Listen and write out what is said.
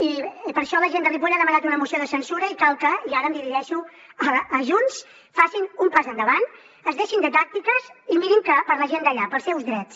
i per això la gent de ripoll ha demanat una moció de censura i cal que i ara em dirigeixo a junts facin un pas endavant es deixin de tàctiques i mirin per la gent d’allà pels seus drets